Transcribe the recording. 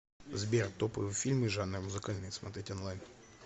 сбер топовые фильмы жанра музыкальный смотреть онлайн